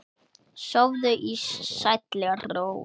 Sofðu í sælli ró.